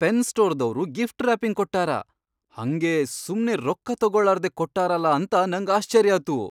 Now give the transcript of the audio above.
Pen ಸ್ಟೋರ್ದವ್ರು gift wrapping ಕೊಟ್ಟಾರ, ಹಂಗೇ ಸುಮ್ನೆ ರೊಕ್ಕ ತೊಗೋಳಾರ್ದೆ ಕೊಟ್ಟಾರಲಾ ಅಂತ ನಂಗ್ ಆಶ್ಚರ್ಯಾತು.